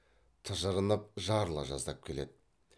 тыжырынып жарыла жаздап келеді